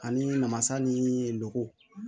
Ani namasa niii lo